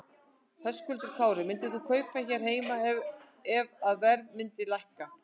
Höskuldur Kári: Myndir þú kaupa hér heima ef að verð myndi lækka?